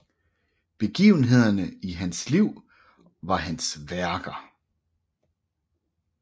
Begivenhederne i hans liv var hans værker